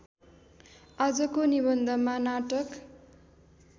आजको निबन्धमा नाटक